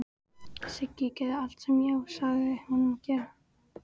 Siggi gerði allt sem Jói sagði honum að gera.